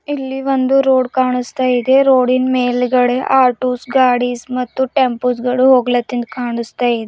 ಇಲ್ಲಿ ಒಂದು ರೋಡ್ ಕಾಣಿಸ್ತಾ ಇದೆ ರೋಡಿ ನ್ ಮೇಲ್ಗಡೆ ಆಟೋಸ್ ಗಾಡಿಸ್ ಮತ್ತು ಟೆಂಪೋಸ್ ಗಳು ಹೋಗ್ಲತ್ತಿನ್ ಕಾಣಿಸ್ತಾ ಇದೆ.